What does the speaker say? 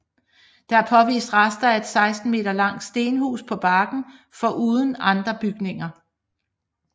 Der er påvist rester af et 16 meter langt stenhus på banken foruden andre bygninger